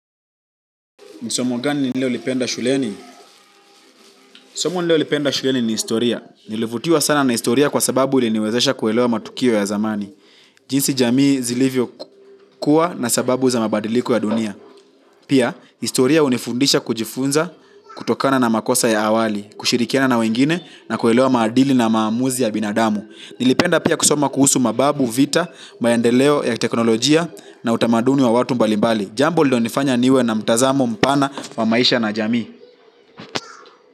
Ni somo gani nililo lipenda shuleni? Somo nililo lipenda shuleni ni historia. Nilivutiwa sana na historia kwa sababu iliniwezesha kuelewa matukio ya zamani. Jinsi jamii zilivyo kuwa na sababu za mabadiliko ya dunia. Pia, historia hunifundisha kujifunza kutokana na makosa ya awali, kushirikiana na wengine na kuelewa maadili na maamuzi ya binadamu. Nilipenda pia kusoma kuhusu mababu, vita, maendeleo ya kiteknolojia na utamaduni wa watu mbalimbali. Jambo lilo nifanya niwe na mtazamo mpana wa maisha na jamii.